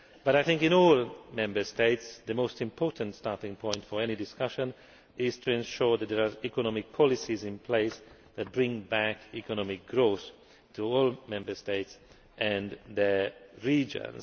But I think in all Member States the most important starting point for any discussion is to ensure that there are economic policies in place that bring back economic growth to all Member States and their regions.